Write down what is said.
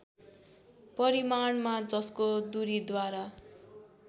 परिमाणमा जसको दूरीद्वारा